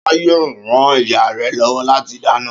Ṣọlá yóò ran ìyá rẹ̀ lọ́wọ́ lati dáná.